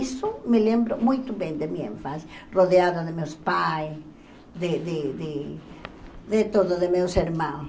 Isso me lembro muito bem da minha infância, rodeada de meus pais, de de de de todos os meus irmãos.